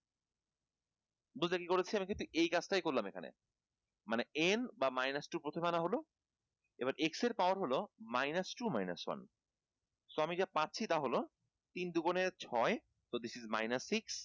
যোজেন করেছি আমি কিন্তু এই কাজ টাই করলাম এখানে মানে n বা minus two প্রথমে আনা হলো এবার x এর power হলো minus two minus one so আমি যা পাচ্ছি তা হলো তিন দু গুনে ছয় ত this is minus six